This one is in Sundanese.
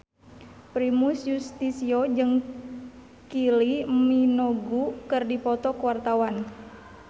Primus Yustisio jeung Kylie Minogue keur dipoto ku wartawan